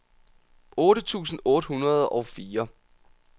otte tusind otte hundrede og fire